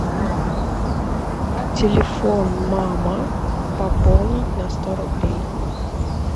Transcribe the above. телефон мама пополнить на сто рублей